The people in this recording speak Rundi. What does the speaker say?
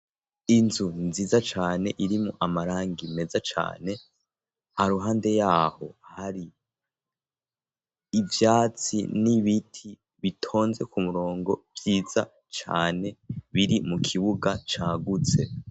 inzu nziza cane iri mu amarangi meza cane haruhande yaho hari ivyatsi nibiti bitonze ku murongo vyiza cane biri mu kibuga cagutse